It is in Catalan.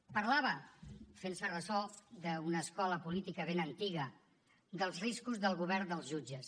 parlava fent se ressò d’una escola política ben antiga dels riscos del govern dels jutges